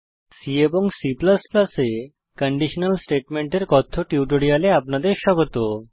C এবং C এ conditional স্টেটমেন্টের কথ্য টিউটোরিয়ালে আপনাদের স্বাগত